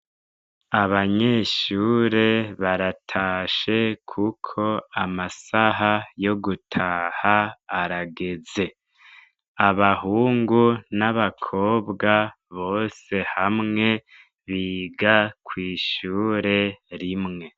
Abanyeshure baratashe, kuko amasaha yo gutaha arageze abahungu n'abakobwa bose hamwe biga kw'ishure rimwe.